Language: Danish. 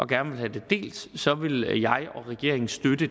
gerne vil have det delt så vil jeg og regeringen støtte det